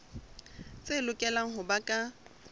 tse lokelang ho ba ka